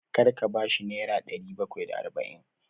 Kar ka ba shi nera ɗari bakwai da arba'in!